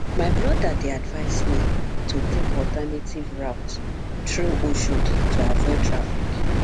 my brother dey advise me to take alternative route through oshodi to avoid traffic